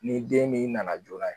Ni den min nana joona.